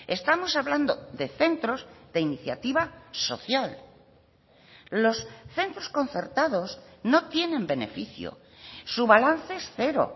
estamos hablando de centros de iniciativa social los centros concertados no tienen beneficio su balance es cero